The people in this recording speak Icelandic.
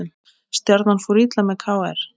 Stjarnan fór illa með KR